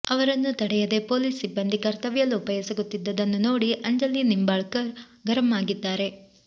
ಅವರನ್ನು ತಡೆಯದೇ ಪೊಲೀಸ್ ಸಿಬ್ಬಂದಿ ಕರ್ತವ್ಯಲೋಪ ಎಸಗುತ್ತಿದ್ದುದ್ದನ್ನು ನೋಡಿ ಅಂಜಲಿ ನಿಂಬಾಳ್ಕರ್ ಗರಂ ಆಗಿದ್ದಾರೆ